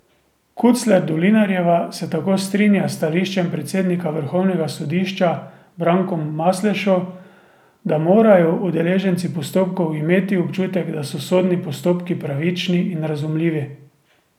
Kucler Dolinarjeva se tako strinja s stališčem predsednika vrhovnega sodišča Brankom Maslešo, da morajo udeleženci postopkov imeti občutek, da so sodni postopki pravični in razumljivi.